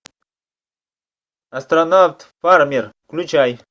астронавт фармер включай